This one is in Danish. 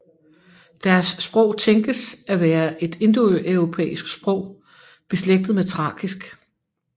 Deres sprog tænkes at være et indoeuropæisk sprog beslægtet med thrakisk